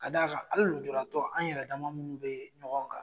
Ka d'a kan, hali lujuratow tɔ an yɛrɛja munnu bɛ ɲɔgɔn kan.